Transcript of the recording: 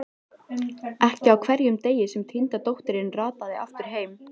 Ekki á hverjum degi sem týnda dóttirin rataði aftur heim.